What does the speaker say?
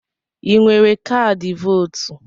I nwere kaadị vootu?